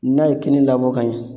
N'a ye kini labɔ ka ɲɛ